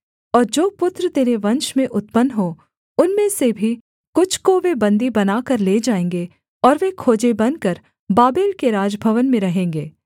और जो पुत्र तेरे वंश में उत्पन्न हों उनमें से भी कुछ को वे बन्दी बनाकर ले जाएँगे और वे खोजे बनकर बाबेल के राजभवन में रहेंगे